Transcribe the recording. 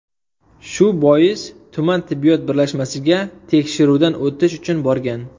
Shu bois, tuman tibbiyot birlashmasiga tekshiruvdan o‘tish uchun borgan.